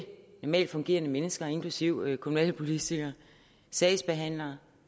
normalt fungerende mennesker inklusive kommunalpolitikere sagsbehandlere